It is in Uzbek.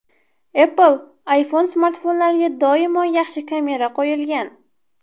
Apple iPhone smartfonlariga doimo yaxshi kamera qo‘yilgan.